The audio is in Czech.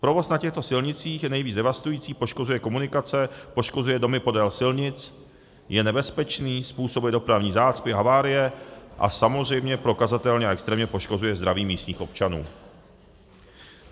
Provoz na těchto silnicích je nejvíc devastující, poškozuje komunikace, poškozuje domy podél silnic, je nebezpečný, způsobuje dopravní zácpy, havárie a samozřejmě prokazatelně a extrémně poškozuje zdraví místních občanů.